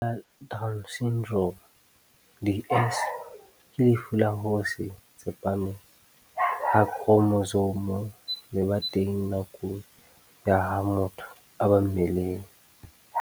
Lefu la Down Syndrome, DS, ke lefu la ho se tsepame ha khromosome le ba teng nakong ya ha motho a ba mmeleng.